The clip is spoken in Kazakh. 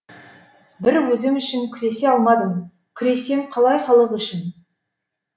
бір өзім үшін күресе алмадым күресем қалай халық үшін